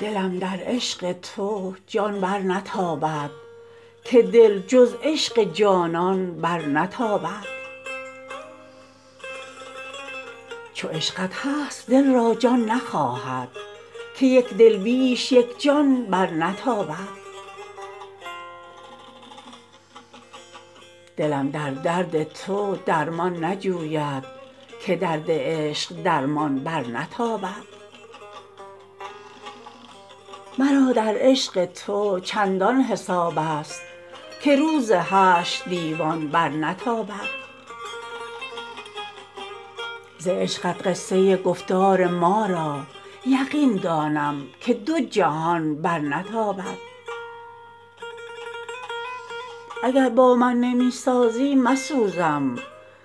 دلم در عشق تو جان برنتابد که دل جز عشق جانان برنتابد چو عشقت هست دل را جان نخواهد که یک دل بیش یک جان برنتابد دلم در درد تو درمان نجوید که درد عشق درمان برنتابد مرا در عشق تو چندان حساب است که روز حشر دیوان برنتابد ز عشقت قصه گفتار ما را یقین دانم که دو جهان برنتابد اگر با من نمی سازی مسوزم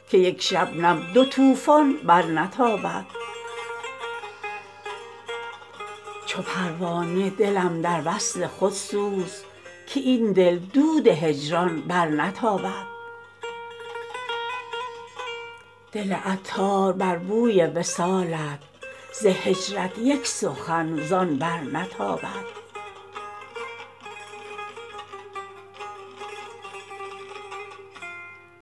که یک شبنم دو طوفان برنتابد چو پروانه دلم در وصل خود سوز که این دل دود هجران برنتابد دل عطار بر بوی وصالت ز هجرت یک سخن زان برنتابد